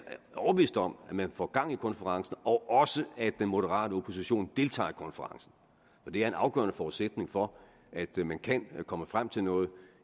jeg overbevist om at man får gang i konferencen og også at den moderate opposition deltager i konferencen det er en afgørende forudsætning for at man kan komme frem til noget